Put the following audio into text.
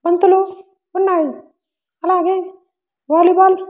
బంతులు ఉన్నాయి అలాగే వాలీ బాల్ .